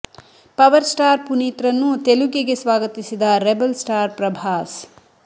power star Puneeth ರನ್ನು ತೆಲುಗಿಗೆ ಸ್ವಾಗತಿಸಿದ ರೆಬಲ್ ಸ್ಟಾರ್ ಪ್ರಭಾಸ್